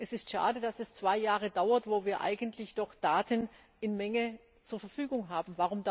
Es ist schade, dass es zwei Jahre dauert, wo wir doch eigentlich Daten in Menge zur Verfügung haben.